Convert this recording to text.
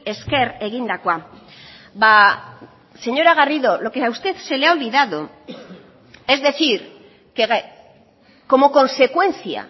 esker egindakoa señora garrido lo que a usted se le ha olvidado es decir que como consecuencia